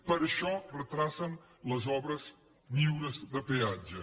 per això retarden les obres lliures de peatge